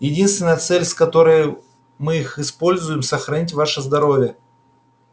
единственная цель с которой мы их используем сохранить ваше здоровье